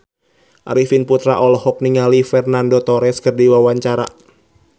Arifin Putra olohok ningali Fernando Torres keur diwawancara